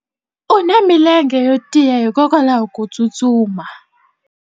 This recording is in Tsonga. u na milenge yo tiya hikwalaho ko tsustuma